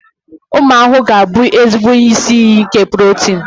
Ụmụ ahụhụ ga-abụ ezigbo isi iyi nke protini.